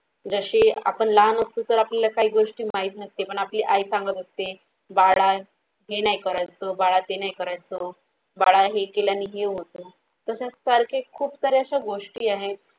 जसे आपण लहान असतो तर आपल्याला काही गोष्टी माहित नसते पण आपली आई सांगत असते बाळा हे नाही करायचं बाळा तो नाही करायचं बाळा हे केल्यानी हे होत तसं सारखे खूप साऱ्या अश्या गोष्टी आहे.